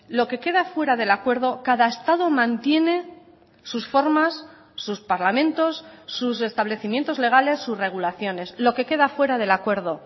lo que queda fuera del acuerdo cada estado mantiene sus formas sus parlamentos sus establecimientos legales sus regulaciones lo que queda fuera del acuerdo